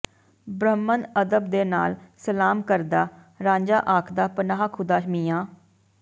ਬ੍ਰਹਮਣ ਅਦਬ ਦੇ ਨਾਲ ਸਲਾਮ ਕਰਦਾ ਰਾਂਝਾ ਆਖਦਾ ਪਨਾਹ ਖ਼ੁਦਾ ਮੀਆਂ